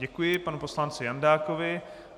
Děkuji panu poslanci Jandákovi.